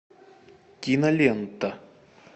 кинолента